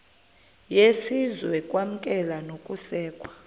yesizwe ukwamkelwa nokusekwa